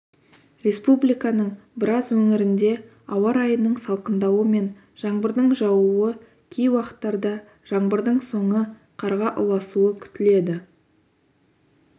республиканың біраз өңірінде ауа райының салқындауы мен жаңбырдың жаууы кей уақыттарда жаңбырдың соңы қарға ұласуы күтіледі